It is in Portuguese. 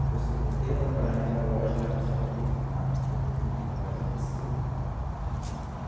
Depois, voltei a trabalhar naquela loja lá que eu te falei, lá em Porteirinha, na loja de tecido. Uhum.